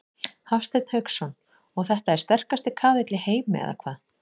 Hafsteinn Hauksson: Og þetta er sterkasti kaðall í heimi eða hvað?